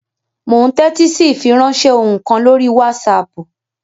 Mò ún tẹ́tí sí ìfiránsẹ́ ohùn kan lórí wásaàpù